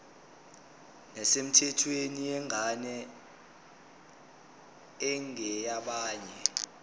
nesemthethweni yengane engeyabanye